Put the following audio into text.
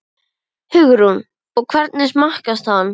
Hugrún: Og hvernig smakkast hann?